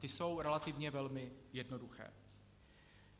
Ty jsou relativně velmi jednoduché.